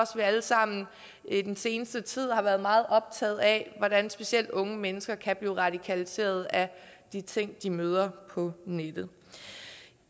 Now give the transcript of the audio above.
vi alle sammen i den seneste tid har været meget optaget af hvordan specielt unge mennesker kan blive radikaliseret af de ting de møder på nettet